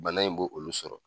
Bana in bo olu sɔrɔ.